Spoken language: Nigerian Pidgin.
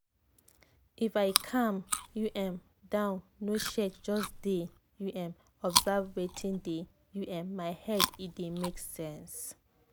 if i calm u m down no shake just dey u m observe wetin dey u m my head e dey make sense.